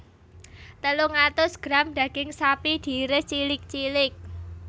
Telung atus gram daging sapi diiris cilik cilik